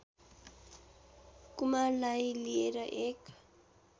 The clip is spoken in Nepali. कुमारलाई लिएर एक